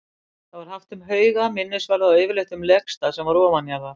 Það var haft um hauga, minnisvarða og yfirleitt um legstað sem var ofanjarðar.